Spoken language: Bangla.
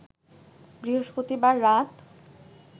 বৃহস্পতিবার রাত